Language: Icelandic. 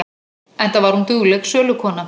Enda var hún dugleg sölukona.